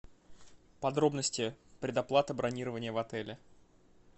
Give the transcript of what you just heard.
подробности предоплаты бронирования в отеле